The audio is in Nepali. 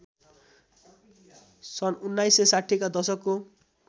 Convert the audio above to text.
सन् १९६० का दशकको